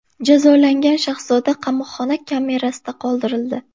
Jazolangan shahzoda qamoqxona kamerasida qoldirildi.